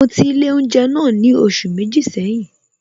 Mo ti ilé oúnjẹ náà ni oṣù méjì seyin